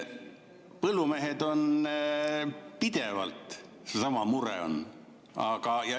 Põllumeestel on pidevalt seesama mure.